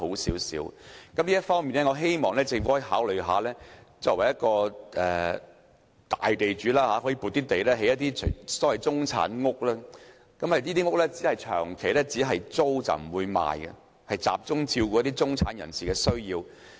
在這方面，我希望作為大地主的政府可以考慮撥出土地，興建所謂"中產屋"，只作長期租賃而不放售，集中照顧中產人士的需要。